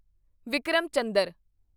Vikram Chandra